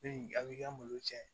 a b'i ka malo cɛn